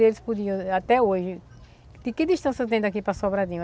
E eles podiam, até hoje, de que distância tem daqui para Sobradinho?